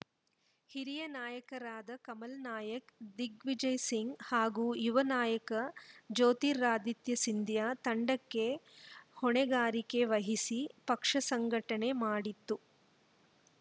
ಹಿರಿಯ ನಾಯಕರಾದ ಕಮಲ್‌ ನಾಯಕ್‌ ದಿಗ್ವಿಜಯ್‌ ಸಿಂಗ್‌ ಹಾಗೂ ಯುವ ನಾಯಕ ಜ್ಯೋತಿರಾದಿತ್ಯ ಸಿಂಧಿಯಾ ತಂಡಕ್ಕೆ ಹೊಣೆಗಾರಿಕೆ ವಹಿಸಿ ಪಕ್ಷ ಸಂಘಟನೆ ಮಾಡಿತ್ತು